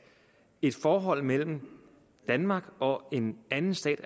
et forhold mellem danmark og en anden stat